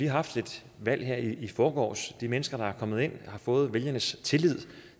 haft et valg her i forgårs de mennesker der er kommet ind og har fået vælgernes tillid